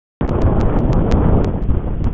Hún reykir og hlustar og svipast um eftir öskubakka.